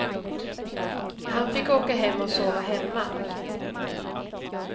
Han fick åka hem och sova hemma.